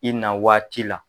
I na waati la